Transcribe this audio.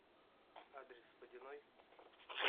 адрес водяной